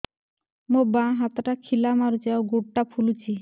ମୋ ବାଆଁ ହାତଟା ଖିଲା ମାରୁଚି ଆଉ ଗୁଡ଼ ଟା ଫୁଲୁଚି